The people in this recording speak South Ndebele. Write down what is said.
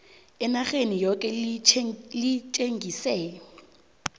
enarheni yoke litjengise